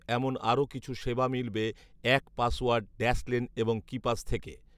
এমন আরো কিছু সেবা মিলবে এক পাসওয়ার্ড, ড্যাশলেন এবং কিপাস থেকে